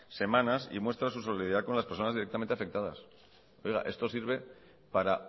semanas y muestra su solidaridad con las personas directamente afectadas oiga esto sirve para